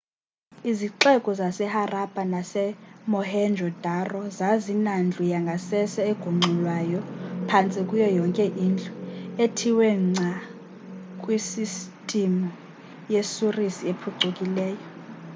izixeko zaseharappa nasemohenjo-daro zazinandlu yangasese egungxulwayo phantse kuyo yonke indlu ethiwe ngca kwi sistimu yesurisi ephucukileyo